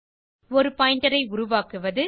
ஒரு பாயிண்டர் ஐ உருவாக்குவது